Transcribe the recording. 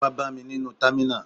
Ó wá bá mi nínú támínà